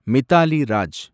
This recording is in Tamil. மிதாலி ராஜ்